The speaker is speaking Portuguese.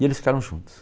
E eles ficaram juntos.